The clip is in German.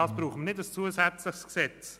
Dafür brauchen wir kein zusätzliches Gesetz.